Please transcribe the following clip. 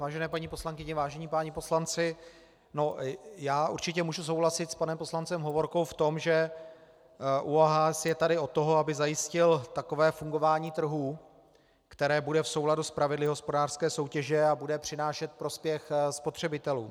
Vážené paní poslankyně, vážení páni poslanci, já určitě můžu souhlasit s panem poslancem Hovorkou v tom, že ÚOHS je tady od toho, aby zajistil takové fungování trhu, které bude v souladu s pravidly hospodářské soutěže a bude přinášet prospěch spotřebitelům.